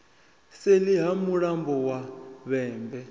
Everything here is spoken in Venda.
seḽi ha mulambo wa vhembe